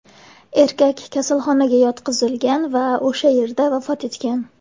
Erkak kasalxonaga yotqizilgan va o‘sha yerda vafot etgan.